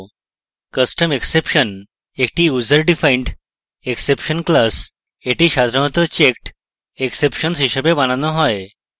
custom exception একটি user defined exception class এটি সাধারণত checked exceptions হিসেবে বানানো হয়